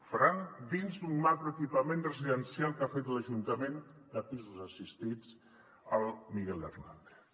el faran dins d’un macro·equipament residencial que ha fet l’ajuntament de pisos assistits el miguel hernández